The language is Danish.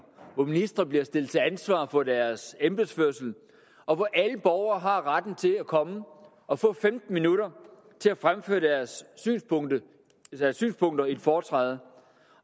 hvor ministre bliver stillet til ansvar for deres embedsførelse og hvor alle borgere har retten til at komme og få femten minutter til at fremføre deres synspunkter i et foretræde